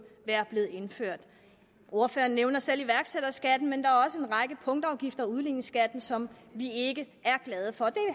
være blevet indført ordføreren nævner selv iværksætterskatten men der er også en række punktafgifter og udligningsskatten som vi ikke er glade for det